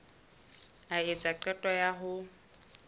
a etsa qeto ya ho